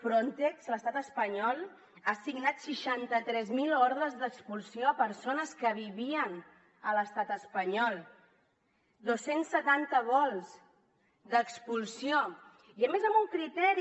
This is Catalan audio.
frontex a l’estat espanyol ha assignat seixanta tres mil ordres d’expulsió a persones que vivien a l’estat espanyol dos cents i setanta vols d’expulsió i a més amb un criteri